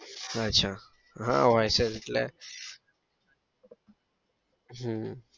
અચ્છા હા હોય છે જ એટલે હમ